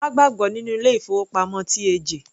Má gbàgbọ́ nínú ilé ìfowópamọ́ TAJ.